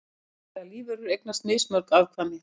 Breytilegar lífverur eignast mismörg afkvæmi.